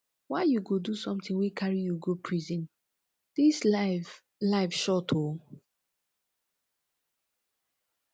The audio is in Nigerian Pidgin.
why you go do something wey carry you go prison dis life life short oo